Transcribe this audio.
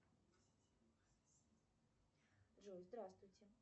джой здравствуйте